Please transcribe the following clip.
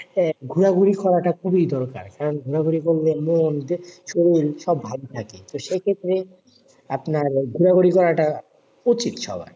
আহ ঘুরাঘুরি করাটা খুবই দরকার কারণ ঘুরাঘুরি করলে মন শরীর সব ভালো থাকে তো সেই ক্ষেত্রে আপনার হল ঘোরাঘুরি করাটা উচিত সবার